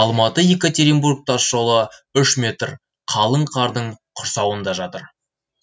алматы екатеринбург тас жолы үш метр қалың қардың құрсауында жатыр